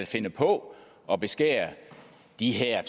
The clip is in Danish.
finde på at beskære de her